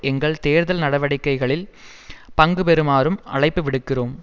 எங்கள் தேர்தல் நடவடிக்கைகளில் பங்கு பெறுமாறும் அழைப்பு விடுக்கிறோம்